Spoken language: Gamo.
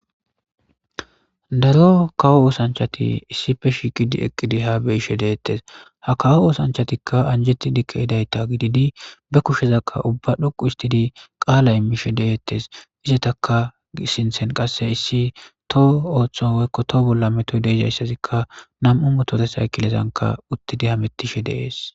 Daro kawo oosanchati issipe shiqidi eqqidi ha beishe deettes ha kawo oosanchatikka anjeti dikke hidayta gididi be kushezakka ubba dhoqu istidi qaala immishe deettes izetaka sinthen qasse issi toho ooththo woykko too bolla metoydezayssazikka nam'u motore saykilezanka uttidi hamettishe deees.